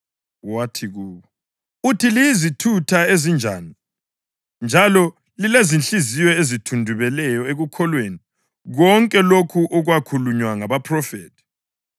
Wathi kubo, “Uthi liyizithutha ezinjani, njalo lilezinhliziyo ezithundubeleyo ekukholweni konke lokho okwakhulunywa ngabaphrofethi!